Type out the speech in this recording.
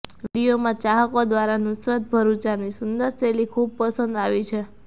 વીડિયોમાં ચાહકો દ્વારા નુસરત ભરૂચાની સુંદર શૈલી ખૂબ પસંદ આવી છે